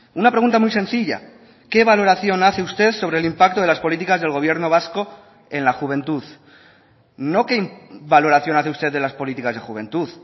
una pregunta muy sencilla qué valoración hace usted sobre el impacto de las políticas del gobierno vasco en la juventud no qué valoración hace usted de las políticas de juventud